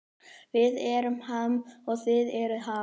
Við erum Ham og þið eruð Ham